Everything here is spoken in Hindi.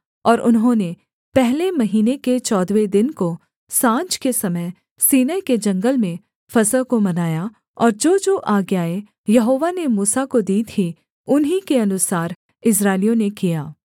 और उन्होंने पहले महीने के चौदहवें दिन को साँझ के समय सीनै के जंगल में फसह को मनाया और जोजो आज्ञाएँ यहोवा ने मूसा को दी थीं उन्हीं के अनुसार इस्राएलियों ने किया